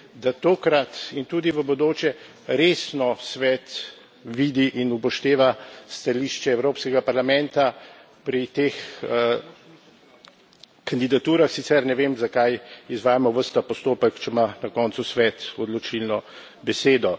da tokrat in tudi v bodoče resno Svet vidi in upošteva stališče Evropskega parlamenta pri teh kandidaturah, sicer ne vem, zakaj izvajamo ves ta postopek, če ima na koncu Svet odločilno besedo.